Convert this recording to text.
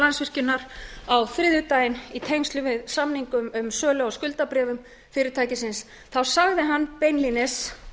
landsvirkjunar á þriðjudaginn í tengslum við samning um sölu á skuldabréfum fyrirtækisins þá sagði hann beinlínis